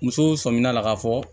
Musow sɔmina a la k'a fɔ